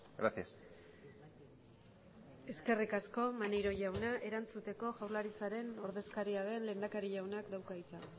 gracias eskerrik asko maneiro jauna erantzuteko jaurlaritzaren ordezkaria den lehendakari jaunak dauka hitza